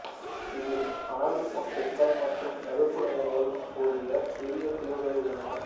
இதில் மணல் முட்டுகள் மற்றும் சதுப்புநிலங்களுடன் கூடிய சிறிய தீவுகள் உள்ளன